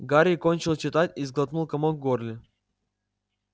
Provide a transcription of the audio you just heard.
гарри кончил читать и сглотнул комок в горле